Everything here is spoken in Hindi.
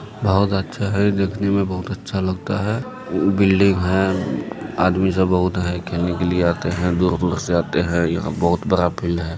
बहुत अच्छा है देखने में बहुत अच्छा लगता है बिल्डिंग है आदमी सब बहुत है खेलने के लिए आते हैं दूर-दूर से आते हैं| यहां पर बहुत बड़ा फील्ड है।